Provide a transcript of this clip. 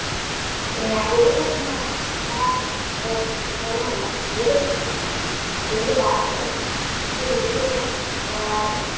പിന്നെ ഏത് സിനിമയാണെങ്കിലും കാണും അങ്ങനെ ഒരു ഇതൊന്നുമില്ല ഏത് സിനിമ അതേതു ഭാഷയായാലും ഏതു രീതിയിലുള്ള സിനിമകളായാലും